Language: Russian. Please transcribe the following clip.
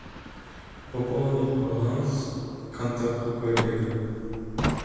пополнить баланс контакту коллега